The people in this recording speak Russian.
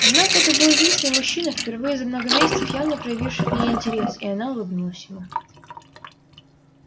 однако это был единственный мужчина впервые за много месяцев явно проявивший к ней интерес и она улыбнулась ему